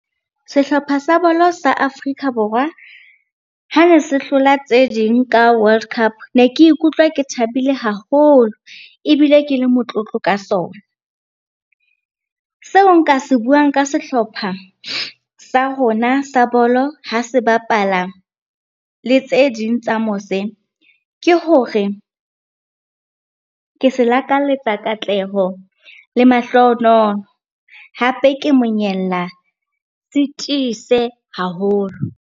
Sehlopha sa bolo sa Afrika Borwa ha ne se hlola tse ding ka World Cup, ne ke ikutlwa ke thabile haholo ebile ke le motlotlo ka sona. Seo nka se buang ka sehlopha sa rona sa bolo ha se bapala le tse ding tsa mose, ke hore ke se lakalletsa katleho le mahlohonolo. Hape ke monyella se tiise haholo.